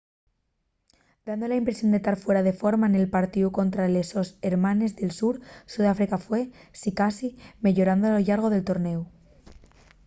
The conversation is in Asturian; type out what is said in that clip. dando la impresión de tar fuera de forma nel partíu contra les sos hermanes del sur sudáfrica fue sicasí meyorando a lo llargo del tornéu